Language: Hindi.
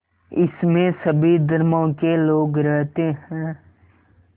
इसमें सभी धर्मों के लोग रहते हैं